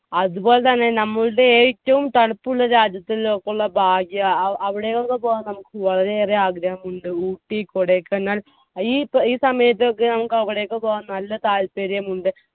അതുപോലെ തന്നെ ഞമ്മളുടെ ഏറ്റവും തണുപ്പുള്ള രാജ്യത്ത് ഇള്ളോർക്കുള്ള ഭാഗ്യാ അവിടെ ഒന്ന് പോകാൻ നമ്മുക്ക് വളരെയേറെ ആഗ്രഹമുണ്ട്. ഊട്ടി കൊടൈക്കനാൽ ഈ ഈ സമയത്തൊക്കെ നമ്മുക്ക് അവിടേക്ക് പോകാൻ നല്ല താൽപ്പര്യമുണ്ട്.